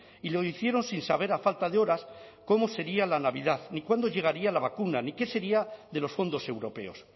y lo hicieron sin saber a falta de horas cómo sería la navidad ni cuándo llegaría la vacuna ni que sería de los fondos europeos